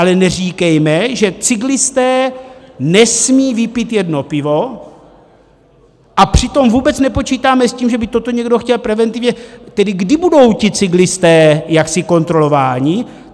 Ale neříkejme, že cyklisté nesmí vypít jedno pivo, a přitom vůbec nepočítáme s tím, že by toto někdo chtěl preventivně - tedy kdy budou ti cyklisté jaksi kontrolováni?